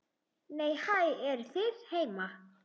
Nei, hæ, eruð þið heima!